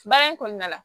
Baara in kɔnɔna la